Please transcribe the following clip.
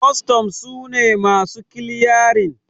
kwastan su ne masu kiliyarin